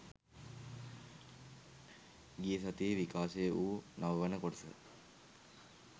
ගිය සතියේ විකාශය වු නව වන කොටස